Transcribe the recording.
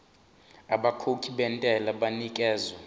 abakhokhi bentela banikezwa